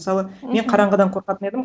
мысалы мен қараңғыдан қорқатын едім